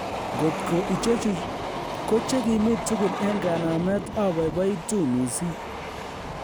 Ngot ko ichechu kochekimi tugul en kanamet oboiboitu mising